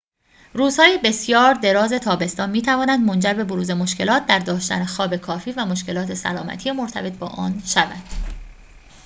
روزهای بسیار دراز تابستان می‌تواند منجر به بروز مشکلات در داشتن خواب کافی و مشکلات سلامتی مرتبط با آن شود